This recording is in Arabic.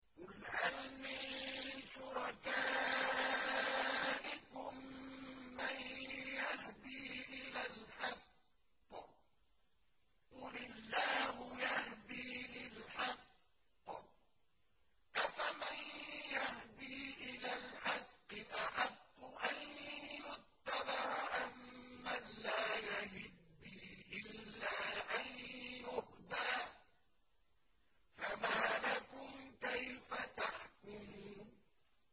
قُلْ هَلْ مِن شُرَكَائِكُم مَّن يَهْدِي إِلَى الْحَقِّ ۚ قُلِ اللَّهُ يَهْدِي لِلْحَقِّ ۗ أَفَمَن يَهْدِي إِلَى الْحَقِّ أَحَقُّ أَن يُتَّبَعَ أَمَّن لَّا يَهِدِّي إِلَّا أَن يُهْدَىٰ ۖ فَمَا لَكُمْ كَيْفَ تَحْكُمُونَ